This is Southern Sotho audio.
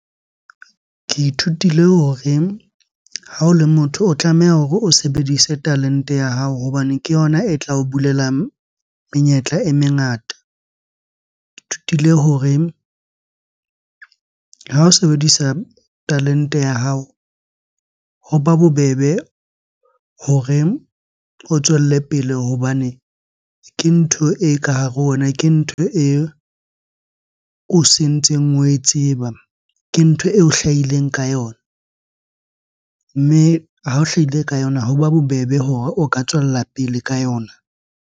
Ke ithutile hore ha o le motho, o tlameha hore o sebedise talente ya hao hobane ke yona e tla o bulela menyetla e mengata. Thutile hore ha o sebedisa talente ya hao hoba bobebe hore o tswelle pele hobane ke ntho e ka hare ho wena, ke ntho e, o sentseng oe tseba, ke ntho eo o hlahileng ka yona. Mme ha o hlahile ka yona hoba bobebe hore o ka tswella pele ka yona.